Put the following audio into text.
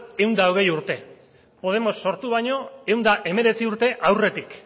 ehun eta hogei urte podemos sortu baino ehun eta hemeretzi urte aurretik